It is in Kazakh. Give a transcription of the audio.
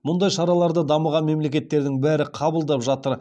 мұндай шараларды дамыған мемлекеттердің бәрі қабылдап жатыр